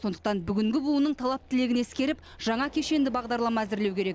сондықтан бүгінгі буынның талап тілегін ескеріп жаңа кешенді бағдарлама әзірлеу керек